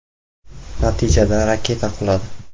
Natijada raketa quladi.